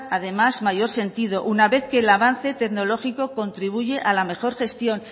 además mayor sentido una vez que el avance tecnológico contribuye a la mejor gestión